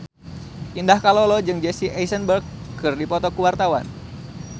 Indah Kalalo jeung Jesse Eisenberg keur dipoto ku wartawan